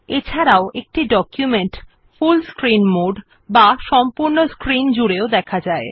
এছাড়াও একটি document full screen mode এ দেখা যায়